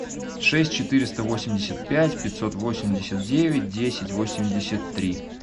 шесть четыреста восемьдесят пять пятьсот восемьдесят девять десять восемьдесят три